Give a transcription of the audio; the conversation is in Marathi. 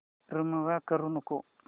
रिमूव्ह करू नको